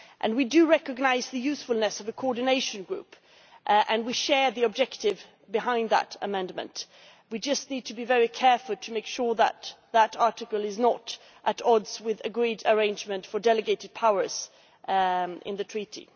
We recognise the usefulness of the Coordination Group and we share the objective behind that amendment. We just need to be very careful to make sure that that article is not at odds with the agreed arrangement for delegated powers in the treaty.